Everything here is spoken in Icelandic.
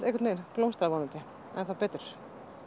blómstrað vonandi enn betur